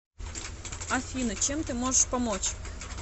афина чем ты можешь помочь